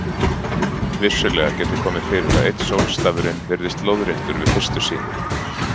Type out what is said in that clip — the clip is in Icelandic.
Vissulega getur komið fyrir að einn sólstafurinn virðist lóðréttur við fyrstu sýn.